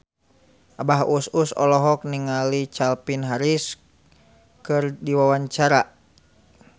Abah Us Us olohok ningali Calvin Harris keur diwawancara